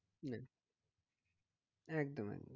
একদম একদম